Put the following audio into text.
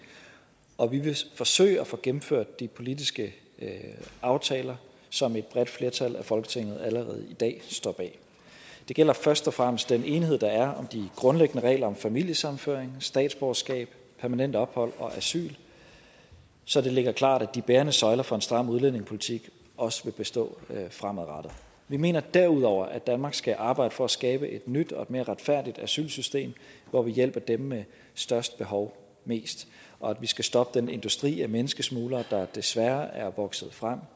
og vi vil forsøge at få gennemført de politiske aftaler som et bredt flertal i folketinget allerede i dag står bag det gælder først og fremmest den enighed der er om de grundlæggende regler for familiesammenføring statsborgerskab permanent ophold og asyl så det ligger klart at de bærende søjler for en stram udlændingepolitik også vil bestå fremadrettet vi mener derudover at danmark skal arbejde for at skabe et nyt og mere retfærdigt asylsystem hvor vi hjælper dem med størst behov mest og at vi skal stoppe den industri af menneskesmuglere der desværre er vokset frem